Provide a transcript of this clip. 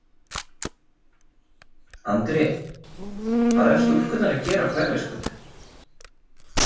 Andri: Hvað eru stúlkurnar að gera á Hverfisgötu?